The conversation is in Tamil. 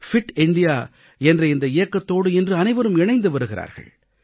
ஃபிட் இந்தியா பிட் இந்தியா என்ற இந்த இயக்கத்தோடு இன்று அனைவரும் இணைந்து வருகிறார்கள்